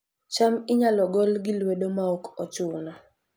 cham inyalo gol gi lwedo maok ochuno